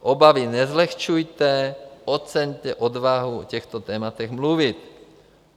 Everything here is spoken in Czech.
Obavy nezlehčujte, oceňte odvahu o těchto tématech mluvit.